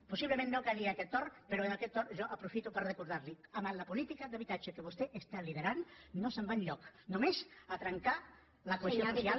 possiblement no calia aquest torn però en aquest torn jo aprofito per recordar li ho amb la política d’habitatge que vostè lidera no es va enlloc només a trencar la cohesió social